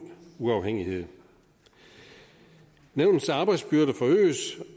uafhængighed nævnets arbejdsbyrde forøges